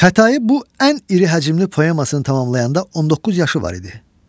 Xətayi bu ən iri həcmli poemasını tamamlayanda 19 yaşı var idi.